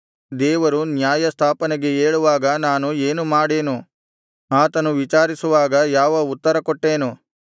ದೇವರು ನ್ಯಾಯಸ್ಥಾಪನೆಗೆ ಏಳುವಾಗ ನಾನು ಏನು ಮಾಡೆನು ಆತನು ವಿಚಾರಿಸುವಾಗ ಯಾವ ಉತ್ತರಕೊಟ್ಟೇನು